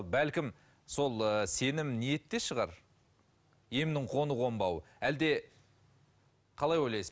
бәлкім сол ы сенім ниетте шығар емнің қону қонбауы әлде қалай ойлайсыз